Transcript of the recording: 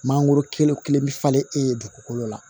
Mangoro kelen bɛ falen e ye dugukolo la